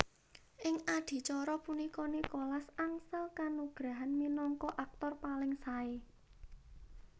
Ing adicara punika Nicholas angsal kanugrahan minangka aktor paling sae